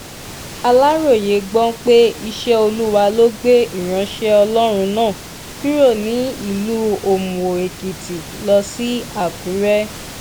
aláròye gbọ́ pé iṣẹ́ olúwa ló gbé ìránṣẹ́ ọlọ́run náà kúrò ní ìlú òmùó-èkìtì lọ sí àkùrẹ́